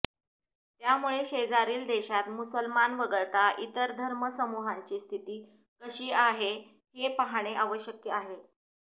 त्यामुळे शेजारील देशात मुसलमान वगळता इतर धर्म समूहांची स्थिती कशी आहे हे पाहाणे आवश्यक आहे